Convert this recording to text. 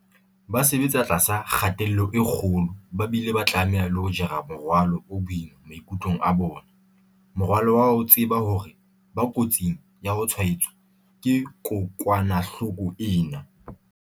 Ba sebetsa tlasa kgatello e kgolo ba bile ba tlameha le ho jara morwalo o boima maikutlong a bona, morwalo wa ho tseba hore ba kotsing ya ho tshwaetswa ke kokwanahloko ena.